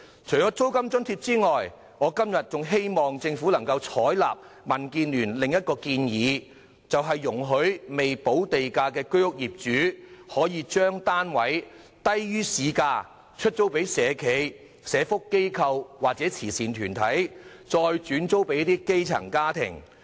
除了租金津貼外，我今天還呼籲政府採納民建聯的另一項建議，容許未補地價的居屋業主，將單位以低於市價租給社企、社福機構或慈善團體，再轉租給基層家庭。